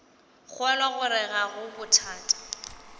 kgolwa gore ga go bothata